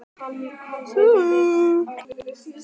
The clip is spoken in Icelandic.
En annað segja ljóðin sem hann yrkir um þessar mundir